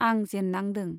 आं जेन्नांदों।